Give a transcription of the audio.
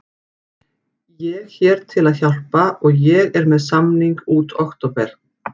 Ég hér til að hjálpa og ég er með samning út október.